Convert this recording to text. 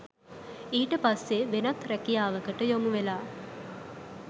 ඊට පස්සෙ වෙනත් රැකියාවකට යොමුවෙලා